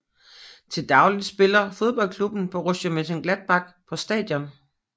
Til daglig spiller fodboldklubben Borussia Mönchengladbach på stadion